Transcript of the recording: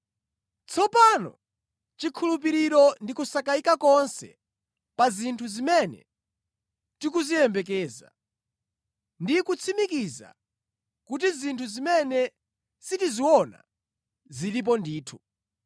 Tsopano chikhulupiriro ndi kusakayika konse pa zinthu zimene tikuziyembekeza, ndi kutsimikiza kuti zinthu zimene sitiziona zilipo ndithu.